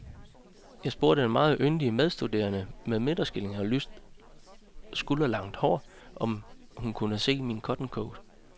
Jeg spurgte en meget yndig medstuderende med midterskilning og lyst skulderlangt hår, om hun kunne se min cottoncoat.